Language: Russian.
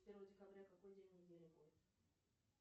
первое декабря какой день недели будет